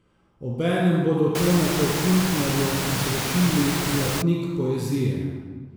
Obenem bodo Tonetu Kuntnerju izročili zlatnik poezije.